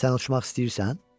Sən uçmaq istəyirsən?